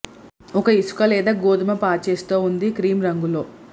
ఒక ఇసుక లేదా గోధుమ పాచెస్ తో ఉంది క్రీమ్ రంగులో